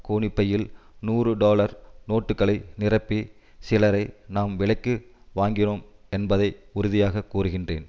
கோணிப்பையில் நூறுடொலர் நோட்டுக்களை நிரப்பி சிலரை நாம் விலைக்கு வாங்கினோம் என்பதை உறுதியாக கூறுகிறேன்